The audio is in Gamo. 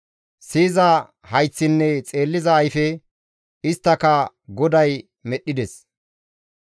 Siyiza hayththinne xeelliza ayfe, isttaka GODAY medhdhides.